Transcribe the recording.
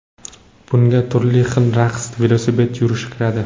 Bunga turli xil raqslar, velosipedda yurish kiradi.